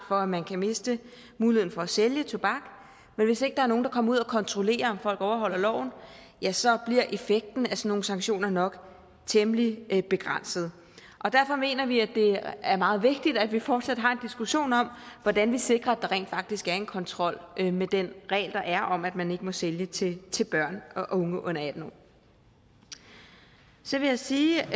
for at man kan miste muligheden for at sælge tobak men hvis ikke der er nogen der kommer ud og kontrollerer om folk overholder loven ja så bliver effekten af sådan nogle sanktioner nok temmelig begrænset derfor mener vi at det er meget vigtigt at vi fortsat har en diskussion om hvordan vi sikrer at der rent faktisk er en kontrol med den regel der er om at man ikke må sælge til til børn og unge under atten år så vil jeg sige